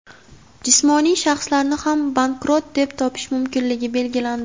Jismoniy shaxslarni ham bankrot deb topish mumkinligi belgilandi.